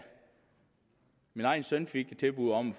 min egen søn fik et tilbud om at